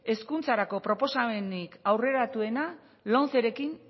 hezkuntzarako proposamenik aurreratuena lomcerekin